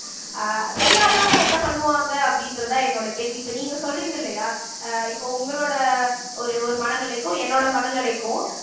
அஹ் தெரியாதவங்க என்ன பண்ணுவாங்க அப்படின்றதுதான் என்னோட கேள்வி இப்ப நீங்க சொல்றீங்க இல்லையா அஹ் இப்ப உங்களோட ஒரு ஒரு மனநிலைக்கும் என்னோட மனநிலைக்கும்